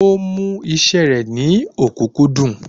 Ó mú iṣẹ́ rẹ̀ ní ọ̀kúnkúndùn